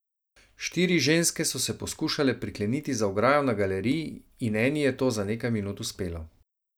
Štiri ženske so se poskušale prikleniti za ograjo na galeriji in eni je to za nekaj minut uspelo.